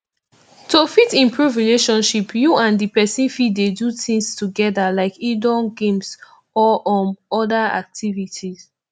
to fit improve relationship you and di person fit dey do things together like indoor games or um oda activities